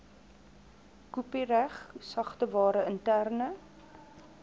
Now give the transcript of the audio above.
kopiereg sagteware interne